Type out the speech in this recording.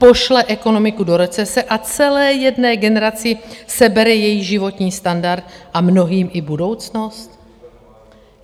Pošle ekonomiku do recese a celé jedné generaci sebere její životní standard a mnohým i budoucnost.